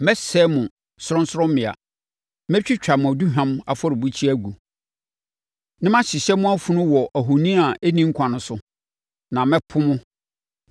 Mɛsɛe mo sorɔnsorɔmmea. Mɛtwitwa mo aduhwam afɔrebukyia agu, na mahyehyɛ mo afunu wɔ mo ahoni a ɛnni nkwa no so; na mɛpo mo.